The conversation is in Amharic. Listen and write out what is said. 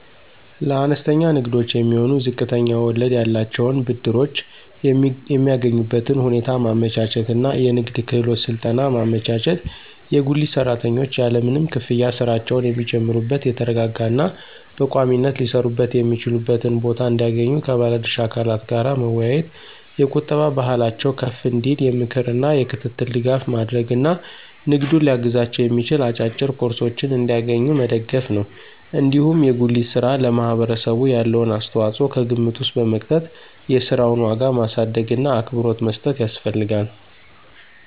ለአነስተኛ ንግዶች የሚሆኑ ዝቅተኛ ወለድ ያላቸውን ብድሮች የሚያገኙበትን ሁኔታ ማመቻቸት እና የንግድ ክህሎት ስልጠና ማመቻቸት፣ የጉሊት ሰራተኞች ያለምንም ክፍያ ሥራቸውን የሚጀምሩበት የተረጋጋ እና በቋሚነት ሊሰሩበት የሚችሉበትን ቦታ እንዲያገኙ ከባለ ድርሻ አካላት ጋር መወያየት፣ የቁጠባ ባህላቸው ከፍ እንዲል የምክር እና የክትትል ድጋፍ ማድረግ እና ንግዱን ሊያግዛቸው የሚችል አጫጭር ኮርሶችን እንዲያገኙ መደገፍ ነው። እንዲሁም የጉሊት ሥራ ለማህበረሰቡ ያለውን አስተዋጽኦ ከግምት ውስጥ በመክተት የሥራውን ዋጋ ማሳደግእና አክብሮት መስጠት ያስፈልጋል።